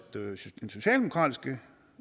den socialdemokratiske